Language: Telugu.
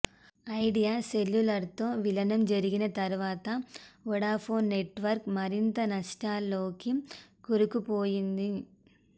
ఐడియా సెల్యులార్తో విలీనం జరిగిన తర్వాత వొడాఫోన్ నెట్వర్క్ మరింత నష్టాల్లోకి కూరుకుపోయింది